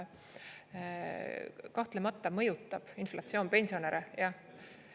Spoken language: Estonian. Kahtlemata mõjutab inflatsioon pensionäre, jah.